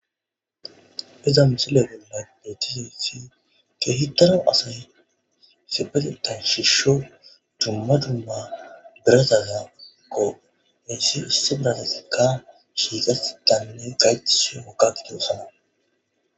Iza missileza bolla bettizayiss kehippe asay isipetethan shsiho dumma dumma birattatkko hesi issi biratazikka shiqetidinne gayetida woththi agidosona